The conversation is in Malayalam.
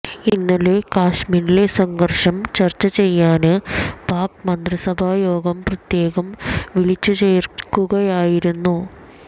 ഇന്നലെ കശ്മീരിലെ സംഘര്ഷം ചര്ച്ച ചെയ്യാന് പാക് മന്ത്രിസഭാ യോഗം പ്രത്യേകം വിളിച്ചു ചേര്ക്കുകയായിരുന്നു